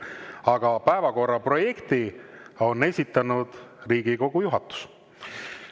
Aga päevakorra projekti on esitanud Riigikogu juhatus.